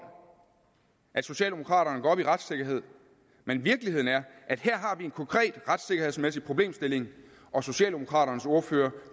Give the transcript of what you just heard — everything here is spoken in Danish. at socialdemokraterne går op i retssikkerhed men virkeligheden er at her har vi en konkret retssikkerhedsmæssig problemstilling og socialdemokraternes ordfører